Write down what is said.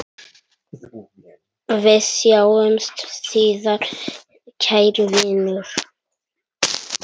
Við sjáumst síðar, kæri vinur.